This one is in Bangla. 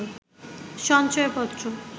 সঞ্চয়পত্র